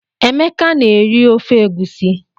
Emeka na-eri ofe egusi.